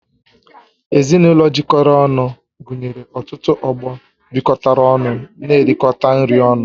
Ezinụlọ jikọrọ ọnụ gụnyere ọtụtụ ọgbọ bịkotara ọnụ n'erikota nri ọnụ